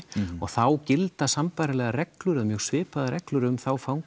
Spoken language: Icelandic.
og þá gilda sambærilegar reglur eða mjög svipaðar reglur um þá fanga